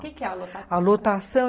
O que que é a lotação?